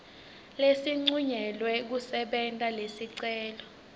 lesincunyelwe kusebenta lesicelo